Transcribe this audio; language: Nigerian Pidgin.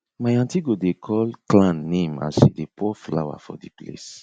my aunty go dey call clan name as she dey pour flour for di place